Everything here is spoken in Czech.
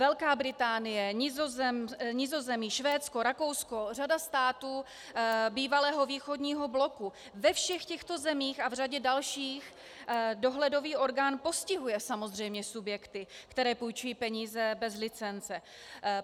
Velká Británie, Nizozemí, Švédsko, Rakousko, řada států bývalého východního bloku - ve všech těchto zemích a v řadě dalších dohledový orgán postihuje samozřejmě subjekty, které půjčují peníze bez licence.